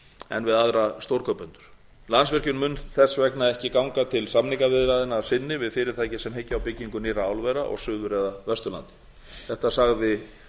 en við aðra stórkaupendur landsvirkjun mun þess vegna ekki ganga til samningaviðræðna að sinni við fyrirtæki sem hyggja á byggingu nýrra álvera á suður eða vesturlandi þetta sagði